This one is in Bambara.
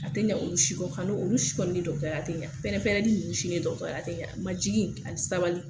A tɛ olu si kɔ kano olu si kɔni dɔgɔtɔrɔya te yan pɛrɛnpɛrɛnli ninnu si ni dɔgɔtɔrɔya te yan majigin ani sabali.